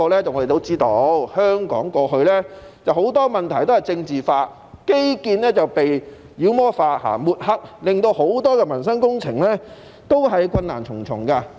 我們都知道，香港過去很多問題都被政治化，基建被妖魔化和抹黑，令很多民生工程都困難重重。